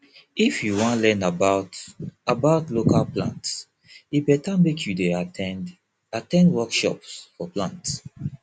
if you wan learn about about local plants e better make you dey at ten d at ten d workshops for plant